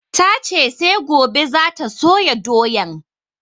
Ta ce sai gobe za ta soya doyan